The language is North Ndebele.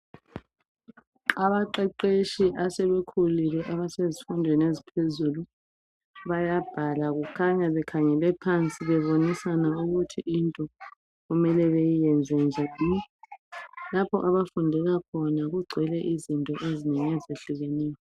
Abaqeqetshi asebekhulile abasezifundweni eziphezulu bayabhala kukhanya bekhangele phansi bebonisana ukuthi into okumele njebhi. Lapho abafundela khona kugcwele izinto ezinengi ezehlukeneyo.